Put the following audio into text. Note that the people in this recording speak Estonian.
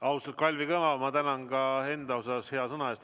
Austatud Kalvi Kõva, ma tänan ka enda nimel hea sõna eest!